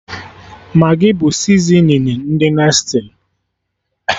Magị bụ sizinin ndị Nestli